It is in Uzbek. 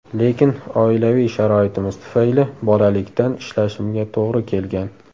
Lekin oilaviy sharoitimiz tufayli bolalikdan ishlashimga to‘g‘ri kelgan.